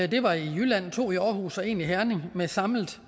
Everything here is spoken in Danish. det var i jylland to i aarhus og en i herning med samlet